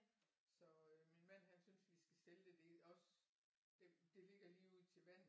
Så øh min mand han synes vi skal sælge det det også det det ligger lige ud til vandet